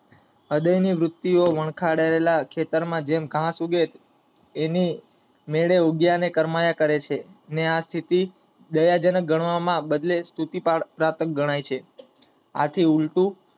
હૃદય ની વૃત્તિ વનખાદેલા માં ખેતર જેમ ઘાસ એના મેળે ઉગે અને કરમાય કરશે, અને આ સ્થિતિ દયાજનક ગણવા ના બદલે સ્તુતિ જનક ગણાય છે આથી ઉલટું